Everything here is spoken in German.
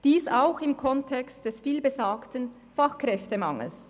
Dies steht auch im Kontext des viel genannten Fachkräftemangels.